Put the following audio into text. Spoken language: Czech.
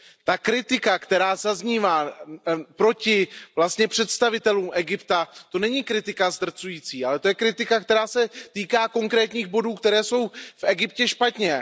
Ta kritika, která zaznívá proti představitelům Egypta, to není kritika zdrcující, ale to je kritika, která se týká konkrétních bodů, které jsou v Egyptě špatně.